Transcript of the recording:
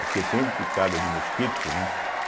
O que eu tenho de picada de mosquito, né?